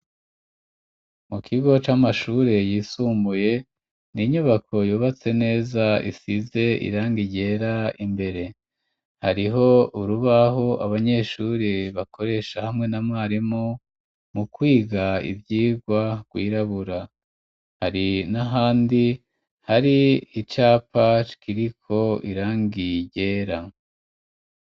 Mu kigo c'amashuri yisumbuye, ni inyubako yubatse neza isize irangi ryera imbere, hariho urubahu abanyeshuri bakoresha hamwe n'a mwarimu mu kwiga ivyigwa rwirabura, hari n'ahandi hari icapa kiriko irangi ryera.